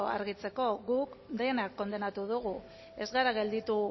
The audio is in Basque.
argitzeko guk dena kondenatu dugu ez gara gelditu